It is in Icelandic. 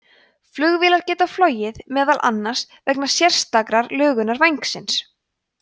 flugvélar geta flogið meðal annars vegna sérstakrar lögunar vængsins